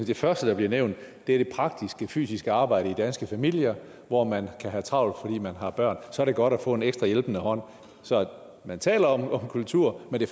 det første der bliver nævnt det praktiske fysiske arbejde i danske familier hvor man kan have travlt fordi man har børn så er det godt at få en ekstra hjælpende hånd man taler om kultur men det